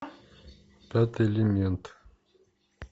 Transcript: пятый элемент